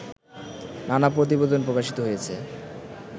নানা প্রতিবেদন প্রকাশিত হয়েছে